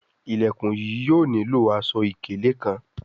Ilẹkùn yìí yóò nilo aṣọ-ikele kán